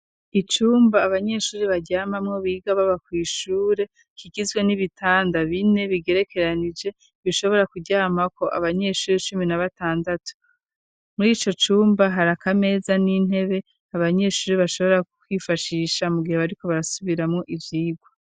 Icumba abanyeshure baryamamwo biga baba kw'ishure kigizwe n'ibitanda bine bigerekeranije, bishobora kuryamako abanyeshuri cumi na batandatu. Muri ico cumba hari akameza n'intebe abanyeshure bashobora kwifashisha mu gihe bariko barasubiramwo ivyigwa.